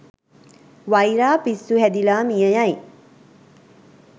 වයිරා පිස්සු හැදිලා මියයයි.